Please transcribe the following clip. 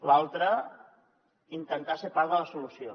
l’altra intentar ser part de la solució